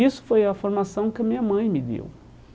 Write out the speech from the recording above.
Isso foi a formação que a minha mãe me deu.